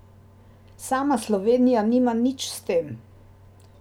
Sama Slovenija nima nič s tem.